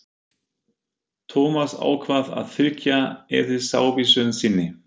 Thomas ákvað að fylgja eðlisávísun sinni.